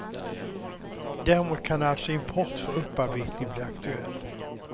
Däremot kan alltså import för upparbetning bli aktuell.